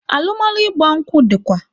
Alụmalụ ịgba nkwụ dịkwa